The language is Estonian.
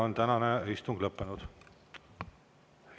Tänane istung on lõppenud.